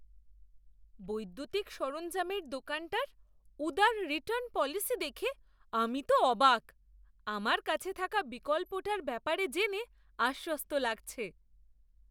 বৈদ্যুতিক সরঞ্জামের দোকানটার উদার রিটার্ণ পলিসি দেখে আমি তো অবাক; আমার কাছে থাকা বিকল্পটার ব্যাপারে জেনে আশ্বস্ত লাগছে।